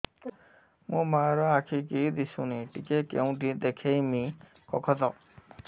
ମୋ ମା ର ଆଖି କି ଦିସୁନି ଟିକେ କେଉଁଠି ଦେଖେଇମି କଖତ